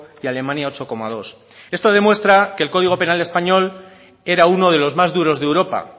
y alemania ocho coma dos esto demuestra que el código penal español era uno de los más duros de europa